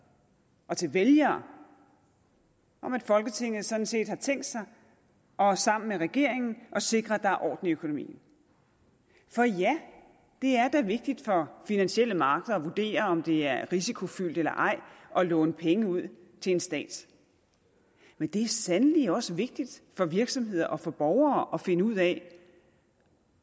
og til vælgere om at folketinget sådan set har tænkt sig sammen med regeringen at sikre at der er orden i økonomien for ja det er da vigtigt for finansielle markeder at vurdere om det er risikofyldt eller ej at låne penge ud til en stat men det er sandelig også vigtigt for virksomheder og for borgere at finde ud af